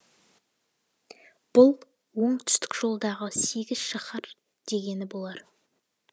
бұл оңтүстік жолдағы сегіз шаһар дегені болар